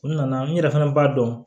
U nana n yɛrɛ fana b'a dɔn